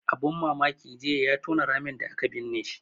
Abun mamaki jiya ya tona ramin da aka binne shi